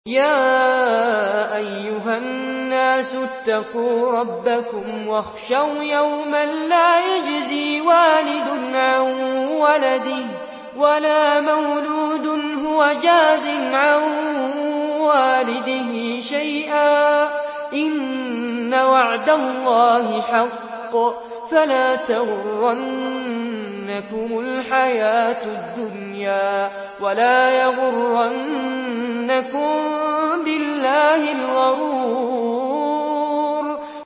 يَا أَيُّهَا النَّاسُ اتَّقُوا رَبَّكُمْ وَاخْشَوْا يَوْمًا لَّا يَجْزِي وَالِدٌ عَن وَلَدِهِ وَلَا مَوْلُودٌ هُوَ جَازٍ عَن وَالِدِهِ شَيْئًا ۚ إِنَّ وَعْدَ اللَّهِ حَقٌّ ۖ فَلَا تَغُرَّنَّكُمُ الْحَيَاةُ الدُّنْيَا وَلَا يَغُرَّنَّكُم بِاللَّهِ الْغَرُورُ